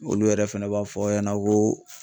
Olu yɛrɛ fɛnɛ b'a fɔ aw ɲɛna ko